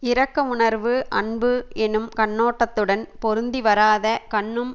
இரக்க உணர்வு அன்பு எனும் கண்ணோட்டத்துடன் பொருந்தி வராத கண்ணும்